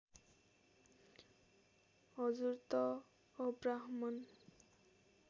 हजुर त अब्राह्मण